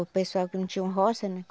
O pessoal que não tinham roça, né?